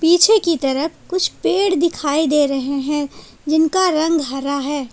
पीछे की तरफ कुछ पेड़ दिखाई दे रहे हैं जिनका रंग हरा है।